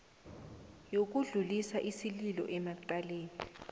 yokudlulisa isililo emacaleni